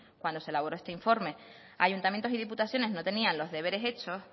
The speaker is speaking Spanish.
cuando se elaboró este informe ayuntamientos y diputaciones no tenían los deberes hechos